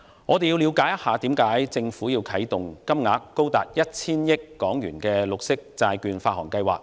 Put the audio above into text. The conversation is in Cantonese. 我們先要了解政府為何要啟動金額高達 1,000 億港元的綠色債券發行計劃。